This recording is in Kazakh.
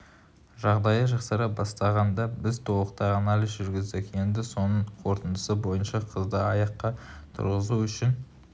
жағдайы жақсара бастағанда біз толықтай анализ жүргіздік енді соның қорытындысы бойынша қызды аяққа тұрғызу үшін